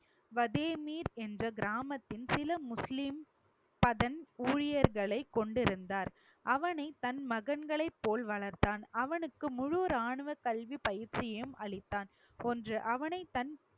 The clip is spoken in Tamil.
வதேமீர் என்று கிராமத்தில் சில முஸ்லிம் பதன் ஊழியர்களை கொண்டுருந்தார் அவனை தன் மகன்களை போல் வளர்த்தான் அவனுக்கு முழு ராணுவ கல்வி பயிற்சியும் அளித்தான் ஒன்று அவனை தன்